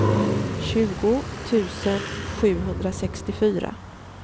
tjugo tusen sjuhundrasextiofyra